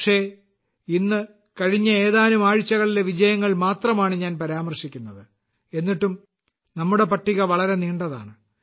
പക്ഷേ ഇന്ന് കഴിഞ്ഞ ഏതാനും ആഴ്ചകളിലെ വിജയങ്ങൾ മാത്രമാണ് ഞാൻ പരാമർശിക്കുന്നത് എന്നിട്ടും നമ്മുടെ പട്ടിക വളരെ നീണ്ടതാണ്